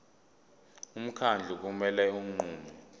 umkhandlu kumele unqume